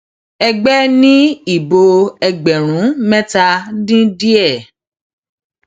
ẹgbẹ ni ìbò ẹgbẹrún mẹta dín díẹ